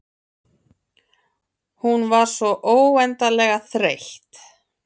Hún var svo óendanlega þreytt.